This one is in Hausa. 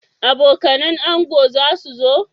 Abokanan ango zasu zo?